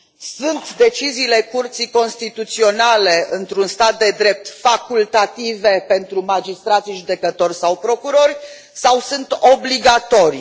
Sunt deciziile Curții Constituționale, într un stat de drept, facultative pentru magistrați, judecători sau procurori, sau sunt obligatorii?